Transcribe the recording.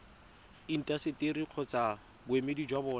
intaseteri kgotsa boemedi jwa bona